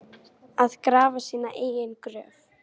Að grafa sína eigin gröf